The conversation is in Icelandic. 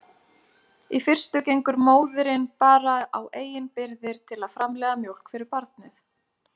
Í fyrstu gengur móðirin bara á eigin birgðir til að framleiða mjólk fyrir barnið.